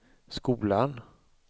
skolan